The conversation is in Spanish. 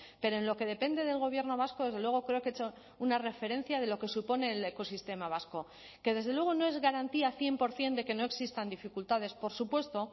pero en lo que depende del gobierno vasco desde luego creo que he hecho una referencia de lo que supone el ecosistema vasco que desde luego no es garantía cien por ciento de que no existan dificultades por supuesto